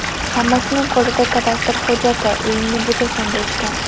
Hammasining qo‘lida kadastr hujjati, uyingni buzasan, deyishgan.